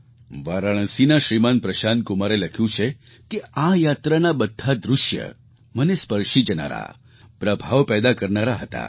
વારાણસીના શ્રીમાન પ્રશાંતકુમારે લખ્યું છે કે આ યાત્રાનાં બધાં દૃશ્ય મનને સ્પર્શી જનારાં પ્રભાવ પેદા કરનારાં હતાં